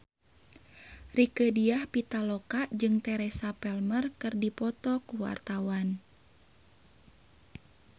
Rieke Diah Pitaloka jeung Teresa Palmer keur dipoto ku wartawan